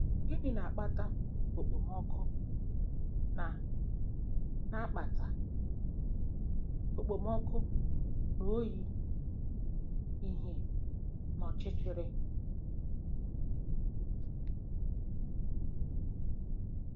Gịnị na-akpata ekpomọkụ na na-akpata ekpomọkụ na oyi, ìhè na ọchịchịrị?